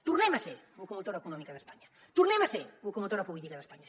tornem a ser locomotora econòmica d’espanya tornem a ser locomotora política d’espanya